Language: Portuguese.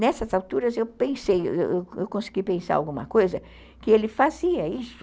Nessas alturas, eu pensei, eu consegui pensar em alguma coisa que ele fazia isso.